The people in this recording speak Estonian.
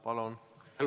Palun!